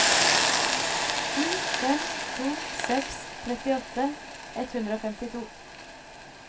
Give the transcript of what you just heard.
sju fem to seks trettiåtte ett hundre og femtito